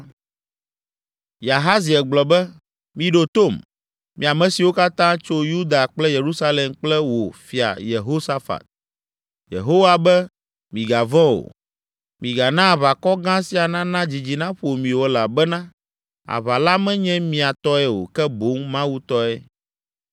Yahaziel gblɔ be, “Miɖo tom, mi ame siwo katã tso Yuda kple Yerusalem kple wò, Fia Yehosafat. Yehowa be, ‘Migavɔ̃ o! Migana aʋakɔ gã sia nana dzidzi naƒo mi o elabena aʋa la menye mia tɔe o ke boŋ Mawu tɔe!